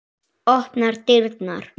Opnar dyrnar.